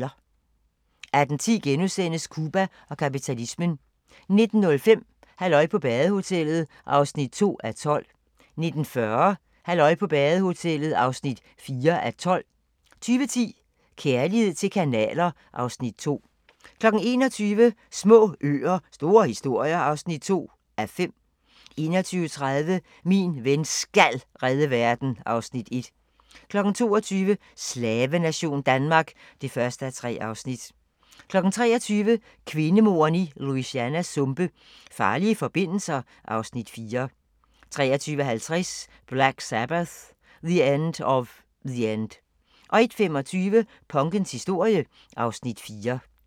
18:10: Cuba og kapitalismen * 19:05: Halløj på badehotellet (3:12) 19:40: Halløj på badehotellet (4:12) 20:10: Kærlighed til kanaler (Afs. 2) 21:00: Små øer - store historier (2:5) 21:30: Min ven SKAL redde verden (Afs. 1) 22:00: Slavenation Danmark (1:3) 23:00: Kvindemordene i Louisianas sumpe: Farlige forbindelser (Afs. 4) 23:50: Black Sabbath - The End Of The End 01:25: Punkens historie (Afs. 4)